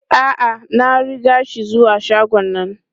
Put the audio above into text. A'a, na riga shi zuwa shagon nan.